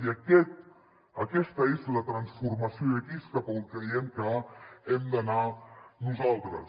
i aquesta és la transformació i aquí és cap a on creiem que hem d’anar nosaltres